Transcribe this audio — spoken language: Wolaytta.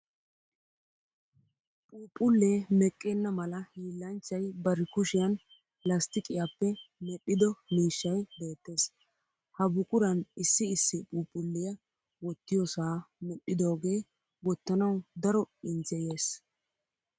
Phuphullee meqqenna mala hiillanchay bari kushiyan lasttiqiyaappe medhdhido miishshay beettes. Ha buquran issi issi phuuphulliya wottiyoosaa medhdhidoogee wottanawu daro injjeyes.